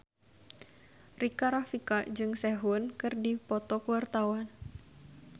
Rika Rafika jeung Sehun keur dipoto ku wartawan